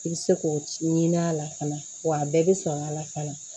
I bɛ se k'o ci ɲini a la fana wa a bɛɛ bɛ sɔn a la fana